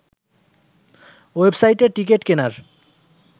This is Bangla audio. ওয়েবসাইটে টিকিট কেনার